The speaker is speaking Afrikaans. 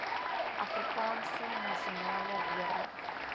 afrikaanse nasionale weermag